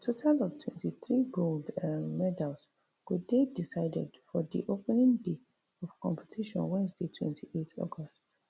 a total of twenty-three gold um medals go dey decided for di opening day of competition wednesday twenty-eight august